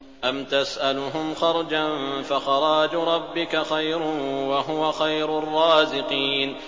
أَمْ تَسْأَلُهُمْ خَرْجًا فَخَرَاجُ رَبِّكَ خَيْرٌ ۖ وَهُوَ خَيْرُ الرَّازِقِينَ